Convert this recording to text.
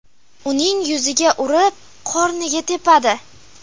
Uning yuziga urib, qorniga tepadi.